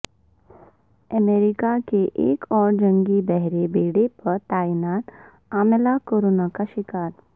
امریکہ کے ایک اور جنگی بحری بیڑے پر تعینات عملہ کورونا کا شکار